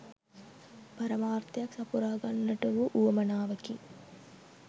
පරමාර්ථයක් සපුරා ගන්නට වූ උවමනාවකි.